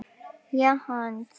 Ég hans.